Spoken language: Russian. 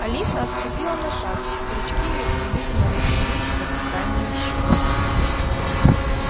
алиса отступила на шаг зрачки её стремительно растянулись в вертикальные щёлки